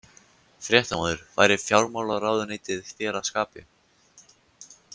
Fréttamaður: Væri fjármálaráðuneytið þér að skapi?